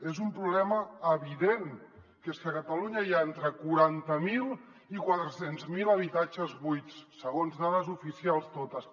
és un problema evident que és que a catalunya hi ha entre quaranta miler i quatre cents miler habitatges buits segons dades oficials totes